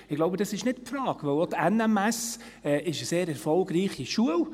– Ich glaube, das ist nicht die Frage, denn auch die NMS ist eine sehr erfolgreiche Schule.